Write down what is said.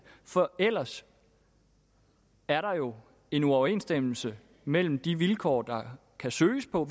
for ellers er der jo en uoverensstemmelse mellem de vilkår der kan søges på